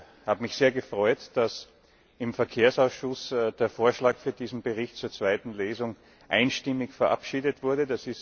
Ich habe mich sehr gefreut, dass im Verkehrsausschuss der Vorschlag für diesen Bericht zur zweiten Lesung einstimmig verabschiedet wurde.